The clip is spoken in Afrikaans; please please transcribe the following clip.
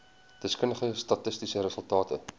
deskundige statistiese resultate